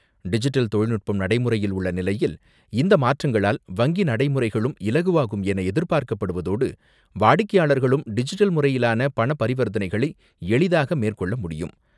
Digital தொழில்நுட்பம் நடைமுறையில் உள்ள நிலையில், இந்த மாற்றங்களால், நடைமுறைகளும் இலகுவாகும் எதிர்பார்க்கப்படுவதோடு, வாடிக்கையாளர்களும் டிஜிட்டல் முறையிலான ஓஒடி பரிவர்த்தனைகளை எளிதாக மேற்கொள்ள முடியும்.